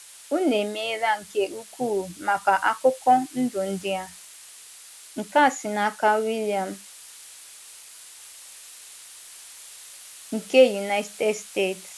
Unu emeela nke ukwuu maka akụkọ ndụ ndị a. ”nkea si n'aka William nke United Steeti.